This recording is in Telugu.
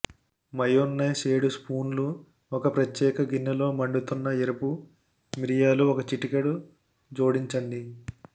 మయోన్నైస్ ఏడు స్పూన్లు ఒక ప్రత్యేక గిన్నె లో మండుతున్న ఎరుపు మిరియాలు ఒక చిటికెడు జోడించండి